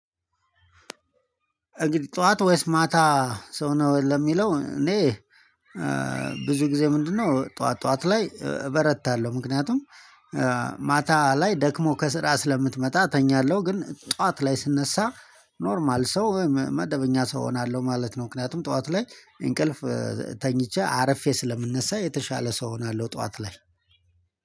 እንግዲህ ጠዋት ወይስ ማታ ሰው ነው ለሚለው እኔ ብዙ ጊዜ ምንድነው? ጠዋት ጠዋት ላይ እበረታለሁ ምክንያቱም ማታ ላይ ደክሞ ከስራ ስለምትመጣ ተኛለሁ። ግን ጠዋት ላይ ስነሳ ኖርማል ሰው ወይም መደበኛ ሰው እሆናለሁ ማለት ነው። ምክንያቱም ጠዋት ላይ እንቅልፍ ተኝቼ አረፌ ስለምነሳ የተሻለ ሰው እሆናለሁ ጠዋት ላይ።